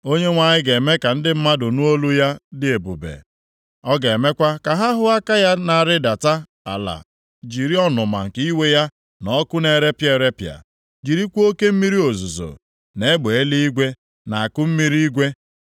Onyenwe anyị ga-eme ka ndị mmadụ nụ olu ya dị ebube, ọ ga-emekwa ka ha hụ aka ya na-arịdata ala jiri ọnụma nke iwe ya na ọkụ na-erepịa erepịa, jirikwa oke mmiri ozuzo, na egbe eluigwe, na akụmmiri igwe.